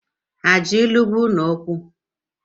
Ha ji ilu gwa ụnụ okwu?